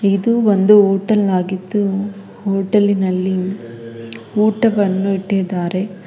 ಇದು ಒಂದು ಹೋಟೆಲ್ ಆಗಿದ್ದು ಹೋಟೆಲ್ ನಲ್ಲಿ ಊಟವನ್ನು ಇಟ್ಟಿದ್ದಾರೆ.